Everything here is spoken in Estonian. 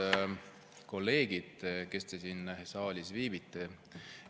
Head kolleegid, kes te siin saalis viibite!